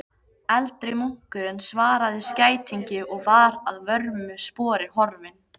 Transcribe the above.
Eldri munkurinn svaraði skætingi og var að vörmu spori horfinn.